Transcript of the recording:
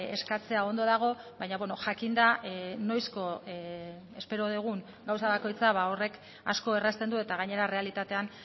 eskatzea ondo dago baina jakinda noizko espero dugun gauza bakoitza horrek asko errazten du eta gainera errealitatean